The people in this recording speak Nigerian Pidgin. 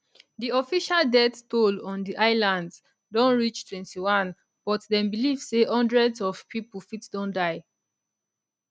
di official death toll on di islands don reach 21 but dem believe say hundreds of pipo fit don die